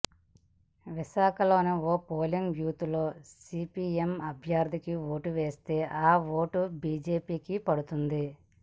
విశాఖ లోని ఓ పోలింగ్ బూత్లో సీపీఎం అభ్యర్థికి ఓటు వేస్తే ఆ ఓటు బీజేపీకి పడుతోంది